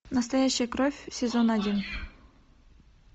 настоящая кровь сезон один